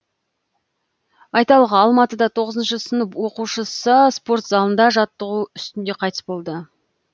айталық алматыда тоғызыншы сынып оқушысы спорт залында жаттығу үстінде қайтыс болды